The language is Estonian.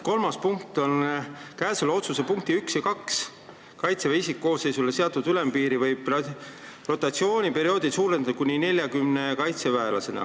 Kolmas punkt on "Käesoleva otsuse punktides 1 ja 2 Kaitseväe isikkoosseisule seatud ülempiiri võib rotatsiooniperioodil suurendada kuni 40 kaitseväelaseni ...